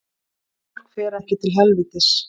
Fólk fer ekki til helvítis